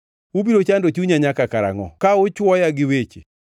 “Ubiro chando chunya nyaka karangʼo ka uchuoya gi weche?